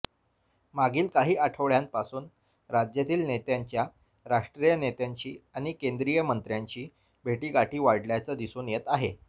मागील काही आठवड्यांपासून राज्यातील नेत्यांच्या राष्ट्रीय नेत्यांशी आणि केंद्रीय मंत्र्यांशी भेटीगाठी वाढल्याचं दिसून येत आहे